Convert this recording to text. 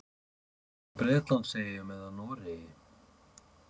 Hvort það var frá Bretlandseyjum eða Noregi.